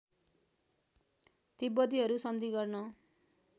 तिब्बतीहरू सन्धि गर्न